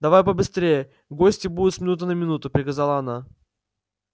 давай побыстрее гости будут с минуты на минуту приказала она